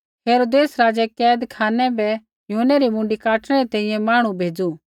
हेरोदेस राज़ै कैदखानै बै यूहन्नै री मुँडी काटणै री तैंईंयैं मांहणु भेज़ै